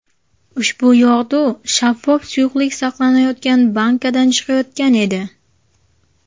Ushbu yog‘du shaffof suyuqlik saqlanayotgan bankadan chiqayotgan edi.